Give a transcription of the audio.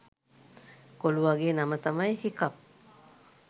කොළුවගේ නම තමයි හිකප්